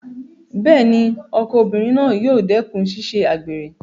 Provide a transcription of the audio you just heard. Bẹ́ẹ̀ni, ọkọ obìnrin náà yóò dẹ́kùn ṣíṣe àgbèrè